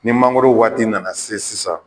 Ni mangoro waati nana se sisan